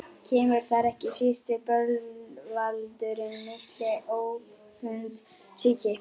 Kemur þar ekki síst til bölvaldurinn mikli, öfundsýki.